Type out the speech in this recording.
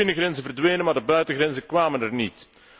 De binnengrenzen verdwenen, maar de buitengrenzen kwamen er niet.